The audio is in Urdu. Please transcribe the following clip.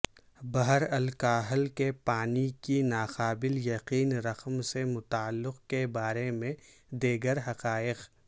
بحرالکاہل کے پانی کی ناقابل یقین رقم سے متعلق کے بارے میں دیگر حقائق